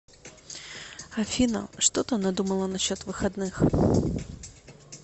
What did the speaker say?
афина что ты надумала насчет выходных